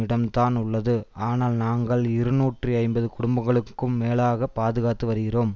இடம்தான் உள்ளது ஆனால் நாங்கள் இருநூற்றி ஐம்பது குடும்பங்களுக்கும் மேலாகப் பாதுகாத்து வருகிறோம்